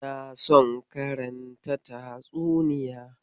In son karanta tatsuniya.